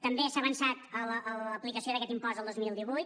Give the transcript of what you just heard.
també s’ha avançat en l’aplicació d’aquest impost el dos mil divuit